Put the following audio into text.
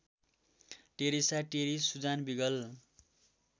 Teresa Terry Susan wiggle